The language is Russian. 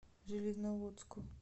железноводску